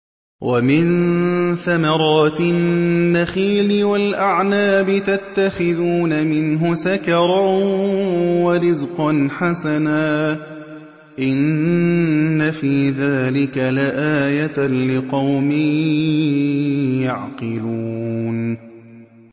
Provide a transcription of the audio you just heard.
وَمِن ثَمَرَاتِ النَّخِيلِ وَالْأَعْنَابِ تَتَّخِذُونَ مِنْهُ سَكَرًا وَرِزْقًا حَسَنًا ۗ إِنَّ فِي ذَٰلِكَ لَآيَةً لِّقَوْمٍ يَعْقِلُونَ